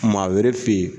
Maa wɛrɛ fe yen